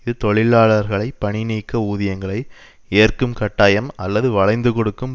இது தொழிலாளர்களை பணிநீக்க ஊதியங்களை ஏற்கும் கட்டாயம் அல்லது வளைந்து கொடுக்கும்